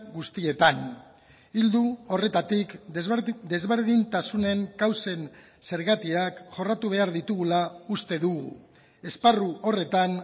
guztietan ildo horretatik desberdintasunen kausen zergatiak jorratu behar ditugula uste dugu esparru horretan